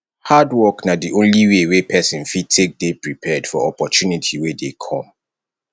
hard work na di only way wey person fit take dey prepared for opportunity wey dey come